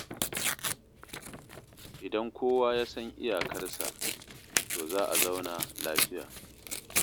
Idan kowa ya san iyakarsa, to za a zauna lafiya.